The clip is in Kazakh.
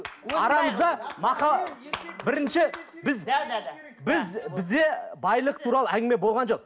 арамызда бірінші біз да да да біз бізде байлық туралы әңгіме болған жоқ